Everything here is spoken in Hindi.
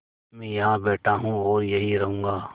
मैं यहाँ बैठा हूँ और यहीं रहूँगा